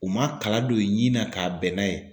U ma kala don u ɲin na ka bɛnn'a ye